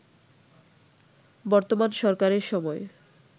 বর্তমান সরকারের সময়